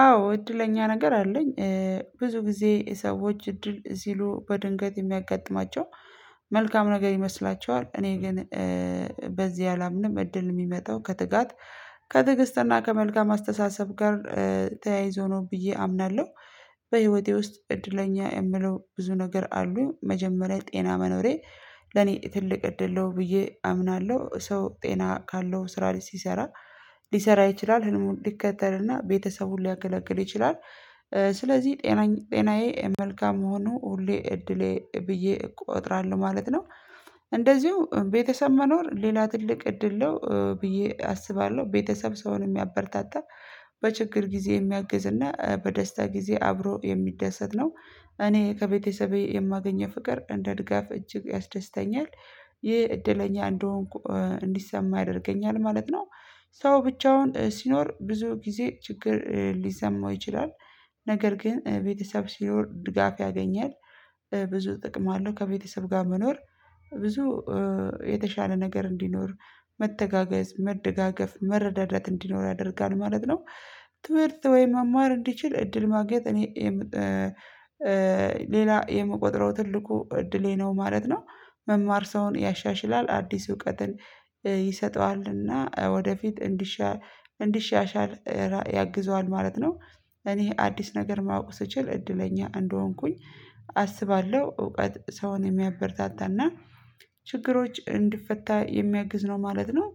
አዎ እድለኛ ነገር አለኝ ብዙ ጊዜ ሰዎች እድል ሲሉ በድንገት የሚያጋጥማቸው መልካም ነገር ይመስላቸዋል እኔ ግን በዚህ አላምንም እድል የሚመጣው ከትጋት ከትግስትና ከመልካም አስተሳሰብ ጋር ተያይዞ ነው ብዬ አምናለሁ። በህይወቴ ውስጥ እድለኛ የምለው ብዙ ነገር አሉኝ መጀመሪያ ጤና መኖሬ ለኔ ትልቅ እድለው ብዬ አምናለሁ ሰው ጤና ካለው ስራ ላይ ሲሰራ ሊሰራ ይችላል ህልሙን ሊከተልና ቤተሰቡን ሊያገለግል ይችላል ስለዚህ ጤናዬ መልካም መሆኑ ሁሌ እድሌ ብዬ እቆጥራለሁ ማለት ነው እንደዚሁ ቤተሰብ መኖር ሌላ ትልቅ እድል ነው ብዬ አስባለሁ ቤተሰብ ሰውን የሚያበረታታ በችግር ጊዜ የሚያግዝ እና በደስታ ጊዜ አብሮ የሚደሰት ነው እኔ ከቤተሰቤ የማገኘው ፍቅር እንደ ድጋፍ እጅግ ያስደስተኛል ይህ እድለኛ እንደሆንኩ እንዲሰማ ያደርገኛል ማለት ነው። ሰው ብቻውን ሲኖር ብዙ ጊዜ ችግር ሊሰማው ይችላል ነገር ግን ቤተሰብ ሲኖር ድጋፍ ያገኛል ብዙ ጥቅም አለው ከቤተሰብ ጋር መኖር ብዙ የተሻለ ነገር እንዲኖር መተጋገዝ መደጋገፍ መረዳዳት እንዲኖር ያደርጋል ማለት ነው ትምህርት ወይ መማር እንዲችል እድል ማግኘት እኔ ሌላ የምቆጥረው ትልቁ እድሌ ነው ማለት ነው መማር ሰውን ያሻሽላል አዲስ እውቀትን ይሰጠዋልና ወደፊት እንዲሻ እንዲሻሻል ያግዘዋል ማለት ነው እኔ አዲስ ነገር ማወቅ ስችል እድለኛ እንደሆንኩኝ አስባለሁ እውቀት ሰውን የሚያበረታታና ችግሮች እንድፈታ የሚያግዝ ነው ማለት ነው